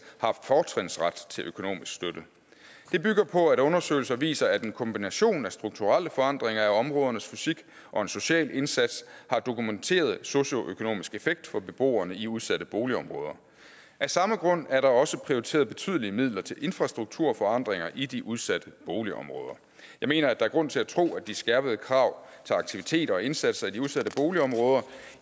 har fortrinsret til økonomisk støtte det bygger på at undersøgelser viser at en kombination af strukturelle forandringer af områdernes fysik og en social indsats har dokumenteret socioøkonomisk effekt for beboerne i de udsatte boligområder af samme grund er der også prioriteret betydelige midler til infrastrukturforandringer i de udsatte boligområder jeg mener at der er grund til at tro at de skærpede krav til aktiviteter og indsatser i de udsatte boligområder